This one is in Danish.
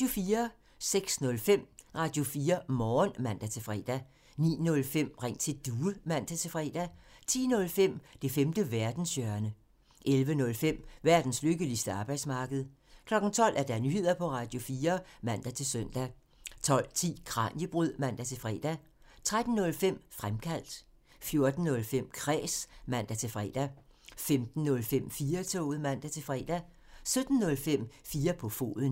06:05: Radio4 Morgen (man-fre) 09:05: Ring til Due (man-fre) 10:05: Det femte verdenshjørne (man) 11:05: Verdens lykkeligste arbejdsmarked (man) 12:00: Nyheder på Radio4 (man-søn) 12:10: Kraniebrud (man-fre) 13:05: Fremkaldt (man) 14:05: Kræs (man-fre) 15:05: 4-toget (man-fre) 17:05: 4 på foden (man)